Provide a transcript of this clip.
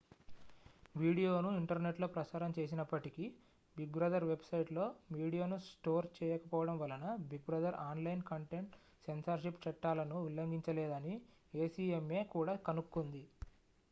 వీడియోను ఇంటర్నెట్లో ప్రసారం చేసినప్పటికీ big brother వెబ్సైట్లో మీడియాను స్టోర్ చేయకపోవడం వలన big brother online content censorship చట్టాలను ఉల్లంఘించలేదని acma కూడా కనుక్కుంది